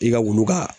I ka wulu ka